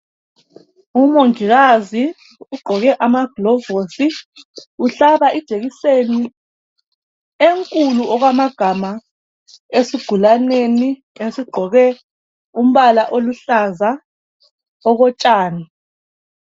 Umongikazi ugqoke amaglovosi uhlaba ijekiseni enkulu okwamagama esigulaneni esigqoke umbala oluhlaza okotshani.